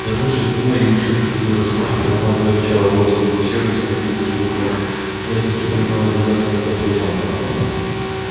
вернувшись домой и учуяв следы росомахи его мать зарычала бросилась в пещеру и с необычной для неё нежностью приняла лизать и ласкать волчонка